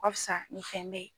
ka fisa nin fɛn bɛɛ